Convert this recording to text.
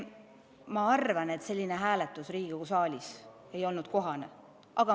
Ma arvan, et selline hääletus Riigikogu saalis ei olnud kohane.